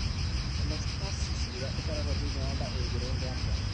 Cholestasis ĩrĩa ĩkoragwo thĩinĩ wa nda ĩngĩrũngwo atĩa?